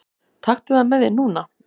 Taktu það með þér núna!